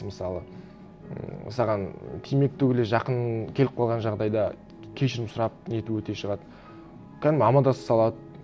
мысалы ммм саған кемек түгілі жақын келіп қалған жағдайда кешірім сұрап нетіп өте шығады кәдімгі амандаса салады